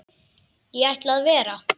Ég ætla að vera.